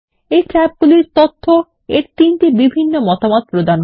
এই ট্যাবগুলির তথ্য এর 3টি বিভিন্ন মতামত প্রদান করে